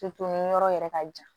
yɔrɔ yɛrɛ ka jan